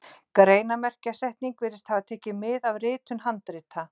Greinarmerkjasetningin virðist hafa tekið mið af ritun handrita.